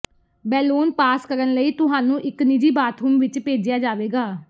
balloon pass ਕਰਨ ਲਈ ਤੁਹਾਨੂੰ ਇੱਕ ਨਿੱਜੀ ਬਾਥਰੂਮ ਵਿੱਚ ਭੇਜਿਆ ਜਾਵੇਗਾ